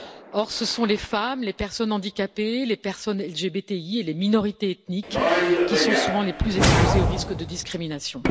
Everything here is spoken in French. Or, ce sont les femmes, les personnes handicapées, les personnes LGBTI et les minorités ethniques qui sont souvent les plus exposées au risque de discrimination.